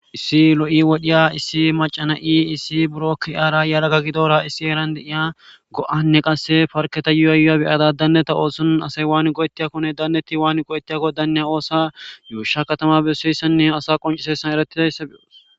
Issi lo'i wodhiya issi macana ii issi buro kiara yalaga gidora issi erande iya go'anne qasse farketa yuayya beyada danneta oosun asay waani go'ettiyakkonne danneti waani go'ettiyakko danneya oosa yuusha katama besseyssanne asa qoncisessan eratidaysse beoos